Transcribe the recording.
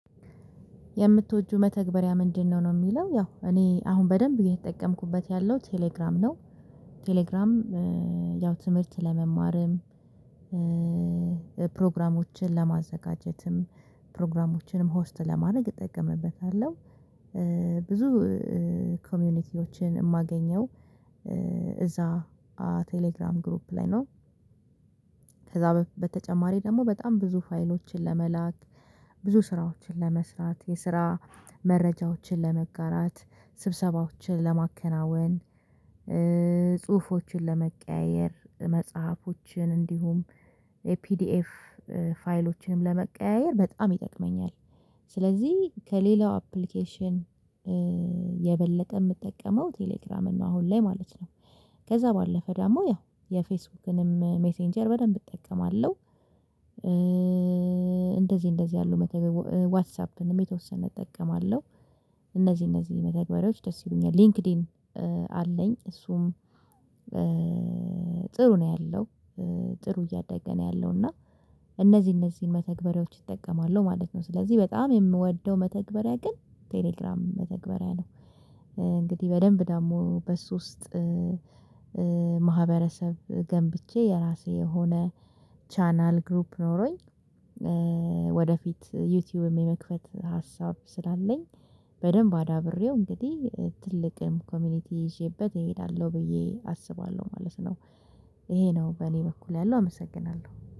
የምትወጅው መተግበሪያ ምንድነው ነው የሚለው ያው እኔ አሁን በደንብ ግን የተጠቀምኩበት ያለው ቴሌግራም ነው? ቴሌግራም ያው ትምህርት ለመማርም ፕሮግራሞችን ለማዘጋጀትም ፕሮግራሞችንም ሆስት ለማድረግ እጠቀምበታለሁ። ብዙ ኮሚኒቲዎችን የማገኘው እዛ ቴሌግራም ግሩፕ ላይ ነው። ከዛ በተጨማሪ ደግሞ በጣም ብዙ ፋይሎችን ለመላክ ብዙ ስራዎችን ለመስራት የስራ መረጃዎችን ለመጋራት ስብሰባዎችን ለማከናወን ጽሁፎችን ለመቀያየር መጽሐፎችን እንዲሁም ፒዲኤፍ ፋይሎችንም ለመቀያየር በጣም ይጠቅመኛል። ስለዚህ ከሌላው አፕሊኬሽን የበለጠ የምጠቀመው ቴሌግራም ነው አሁን ላይ ማለት ነው። ከዛ ባለፈ ደግሞ ያው የፌስቡክንም ሜሴንጀር በደንብ እጠቀማለሁ። እንደዚህ እንደዚህ ያሉ ዋትሳፕንም የተወሰነ እጠቀማለሁ። እነዚህ እነዚህ መተግበሪያዎች ደስ ይሉኛል ሊንክድኢን አለኝ እሱም ጥሩ ነው ያለው ጥሩ እያደገ ነው ያለው እና እነዚህ እነዚህን መተግበሪያዎች እጠቀማለሁ ማለት ነው። ስለዚህ በጣም የምወደው መተግበሪያ ግን ቴሌግራም መተግበሪያ ነው። እንግዲህ በደንብ ደግሞ በሱ ውስጥ ማህበረሰብ ገንብቼ የራሴ የሆነ ቻናል ግሩፕ ኖሮኝ ወደፊት ዩቲዩብም የመክፈት ሀሳብ ስላለኝ በደንብ አዳብሬው እንግዲህ ትልቅም ኮሚኒቲ ይዤበት እሄዳለሁ ብዬ አስባለሁ ማለት ነው። ይሄ ነው በእኔ በኩል ያለው አመሰግናለሁ